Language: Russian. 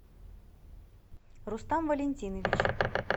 рустам валентинович